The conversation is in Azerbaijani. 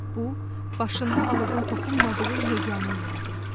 Bu, başında alovun toxunmadığı yeganə yer idi.